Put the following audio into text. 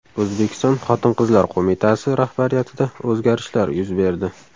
O‘zbekiston xotin-qizlar qo‘mitasi rahbariyatida o‘zgarishlar yuz berdi.